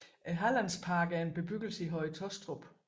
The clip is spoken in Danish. Hallandsparken er en bebyggelse i Høje Taastrup